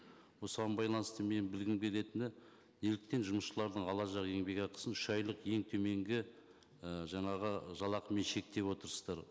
осыған байланысты менің білгім келетіні неліктен жұмысшылардың алашақ еңбекақысын үш айлық ең төменгі ы жаңағы жалақымен шектеп отырсыздар